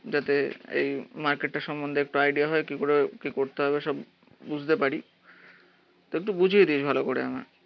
যাতে এই মার্কেটটা সম্বন্ধে একটু আইডিয়া হয় কিকরে কি করতে হবে সব বুঝতে পারি তো একটু বুঝিয়ে ভালো করে আমায়